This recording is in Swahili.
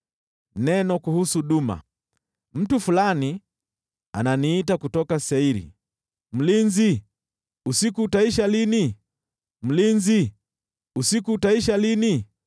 Neno kuhusu Duma: Mtu fulani ananiita kutoka Seiri, “Mlinzi, usiku utaisha lini? Mlinzi, usiku utaisha lini?”